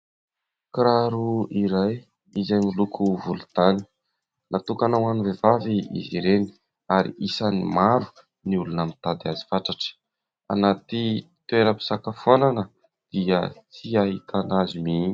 Kiraro iray izay miloko volontany. Natokana ho an'ny vehivavy izy ireny ary isan'ny maro ny olona mitady azy fatratra. Anaty toeram-pisakafoana dia tsy ahitana azy mihitsy.